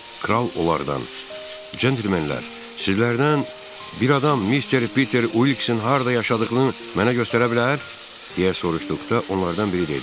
Kral onlardan "Cəntilmenlər, sizlərdən bir adam mister Peter Uilksin harda yaşadığını mənə göstərə bilər?" deyə soruşduqda, onlardan biri dedi: